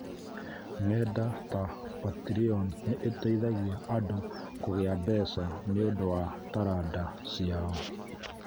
Ng’enda ta Patreon nĩ iteithagia andũ kũgĩá mbeca nĩ ũndũ wa taranda ciao.